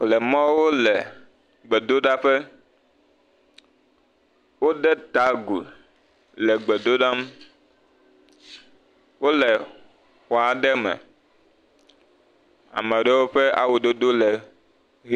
Lemawo le gbedoɖaƒe. Wode ta gu le gbedoɖam. Wole xɔ aɖe me. Ame aɖewo ƒe awu dodo le ʋi.